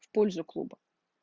в польза клуба